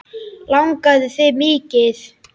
Langaði það mikið.